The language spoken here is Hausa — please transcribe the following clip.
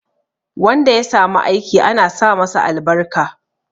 Wanda ya samu aiki ana sa masa albarka